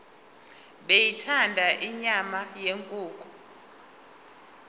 beyithanda inyama yenkukhu